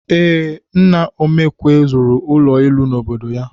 Ee, Nna Omekwe rụrụ ụlọ elu n'obodo ya.